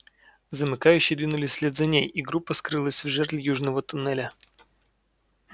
замыкающие двинулись вслед за ней и группа скрылась в жерле южного туннеля